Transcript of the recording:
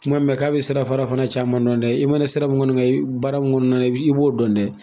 Kuma mɛ k'a bɛ sirafarara fana caman dɔn dɛ i mɛnna sira min kɔni kan baara min kɔni na i b'o dɔn dɛ!